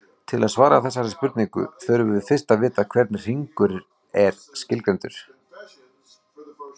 Til að svara þessari spurningu þurfum við fyrst að vita hvernig hringur er skilgreindur.